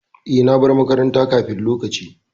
E, na bar makaranta kafin lokaci.